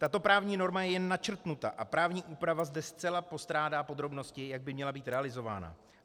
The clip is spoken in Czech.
Tato právní norma je jen načrtnuta a právní úprava zde zcela postrádá podrobnosti, jak by měla být realizována.